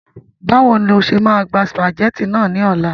Báwo ni o ṣe máa gba sùpàgẹ́tì náà ní ọ̀la